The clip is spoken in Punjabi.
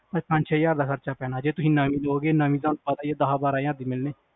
ਪੰਜ ਛੇ ਹਜ਼ਾਰ ਦਾ ਖਰਚਾ ਪੈਣਾ ਜੇ ਤੁਸੀ ਨਵੀਂ ਲਓਗੇ ਨਵੀ ਤੁਹਾਨੂੰ ਦਸ ਬਾਰਾਂ ਹਜ਼ਾਰ ਦੀ ਮਿਲਣੀ